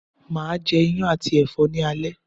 Máa je Iyán àti ẹ̀fọ́ ni alẹ́